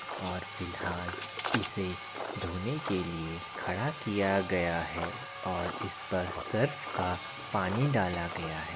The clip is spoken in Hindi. और फिलहाल इसे धोने के लिए खड़ा किया गया है और इस पर सर्फ़ का पानी डाला गया है।